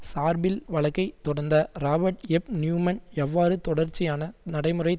சார்பில் வழக்கை தொடர்ந்த ராபர்ட் எப் நியூமன் எவ்வாறு தொடர்ச்சியான நடைமுறைத்